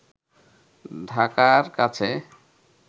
ঢাকার কাছে